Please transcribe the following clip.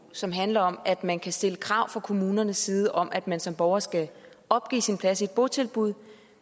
som handler om at man kan stille krav fra kommunernes side om at man som borger skal opgive sin plads i et botilbud